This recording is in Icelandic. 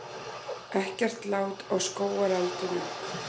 Það eru ansi há laun en þó talsvert lægri en fyrstu fréttir hermdu.